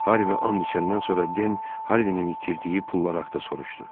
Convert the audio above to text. Harvi and içəndən sonra Den Harvinnin itirdiyi pullar haqda soruşdu.